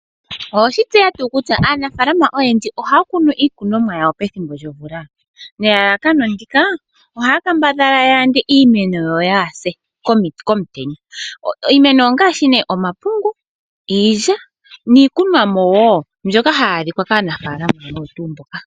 Owe shitseya tuu kutya aanafaalama oyendji oha ya kunu iinima yawo pethimbo lyomvula, nelalakano opo ya kambadhale oku yanda iinima ka yiise komutenya. Iimeno ongashi omapungu, iilya, niikunwamo mbyoka ha yi adhika kaanafaalamo oyo tuu mboka.